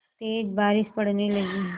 तेज़ बारिश पड़ने लगी